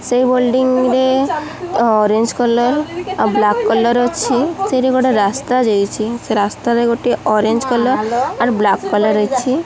ସେ ବୋଲଡିଂ ରେ orange colour ଆଉ ବ୍ଲାକ୍ . କଲର୍ ଅଛି ସେଇଟି ଗୋଟେ ରାସ୍ତା ଯାଇଛି ସେ ରାସ୍ତା ରେ ଗୋଟିଏ orange colour and black colour ଅଛି।